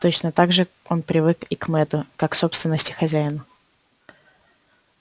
точно так же он привык и к мэтту как к собственности хозяина